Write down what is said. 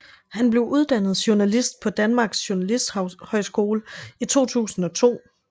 Han blev uddannet journalist på Danmark Journalisthøjskole i 2002